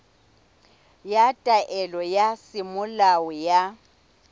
ya taelo ya semolao ya